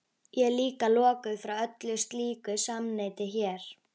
Ég er líka lokaður frá öllu slíku samneyti hér.